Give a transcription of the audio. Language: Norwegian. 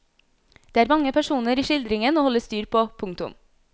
Det er mange personer i skildringen å holde styr på. punktum